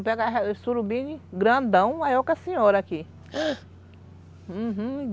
Eu pego esse surubim grandão maior que a senhora aqui, uhum